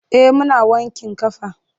Eh muna wankin ƙafa.